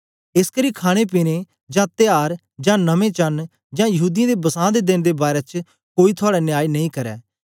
एसकरी खाणेपीने जां त्यार जां नमें चांन्न जां यहूदीयें दे बसां दे देन दे बारै च कोई थुआड़ा न्याय नेई करै